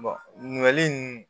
ɲininkali